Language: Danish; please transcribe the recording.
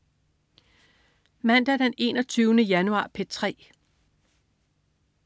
Mandag den 21. januar - P3: